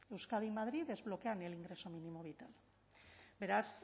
euskadi y madrid desbloquean el ingreso mínimo vital beraz